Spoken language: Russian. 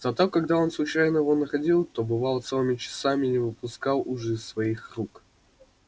зато когда он случайно его находил то бывало по целым часам не выпускал уж из своих рук